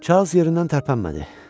Çarlz yerindən tərpənmədi.